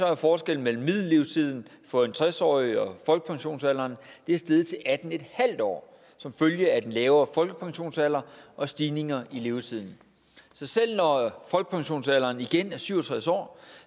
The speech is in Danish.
er forskellen mellem middellevetiden for en tres årig og folkepensionsalderen steget til atten en halv år som følge af den lavere folkepensionsalder og stigninger i levetiden så selv når folkepensionsalderen igen er syv og tres år